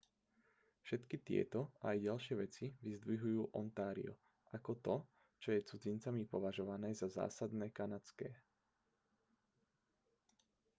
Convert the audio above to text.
všetky tieto a aj ďalšie veci vyzdvihujú ontario ako to čo je cudzincami považované za zásadne kanadské